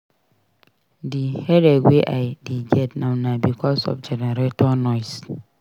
Dis headache wey I dey get now na because of generator noise.